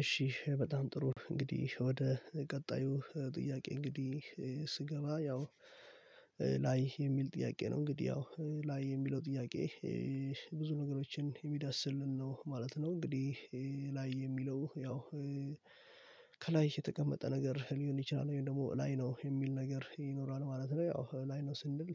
እሺ በጣም ጥሩ እንግዲህ ወደ ቀጣዩ ጥያቄ እንግዲህ ስገባ ያው ላይ የሚል ጥያቄ ነው እንግዲህ ያው ላይ የሚለው ጥያቄ። ብዙ ነገሮችን የሚዳስልን ነው ማለት ነው እንግዲህ። ላይ የሚለው ያው ከላይ የተቀመጠ ነገር ሊሆን ይችላል ወይም ደግሞ ላይ ነው የሚል ነገር ይኖራል ማለት ነው። ያው ላይ ነው ስንል